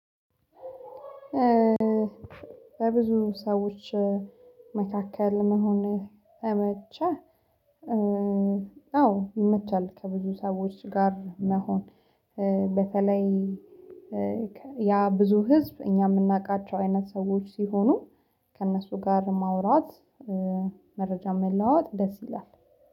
በብዙ ሰዎች መካከል መሆን ይመቻል አዎ ይመቻል። ከብዙ ሰዎች ጋር መሆን በተለይ ያ ብዙ ህዝብ እኛ የምናውቃቸው አይነት ሰዎች ሲሆኑ። ከእነሱ ጋር ማውራት መረጃ መለዋወጥ ደስ ይላል